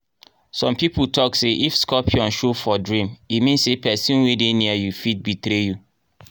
some people talk say if scorpion show for dream e mean say person wey dey near you fit betray you.